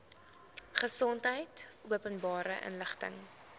gesondheid openbare inligting